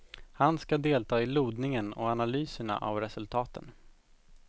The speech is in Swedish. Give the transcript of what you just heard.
Han ska delta i lodningen och analyserna av resultaten.